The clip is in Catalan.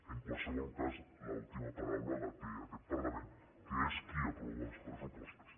en qualsevol cas l’última paraula la té aquest parlament que és qui aprova els pressupostos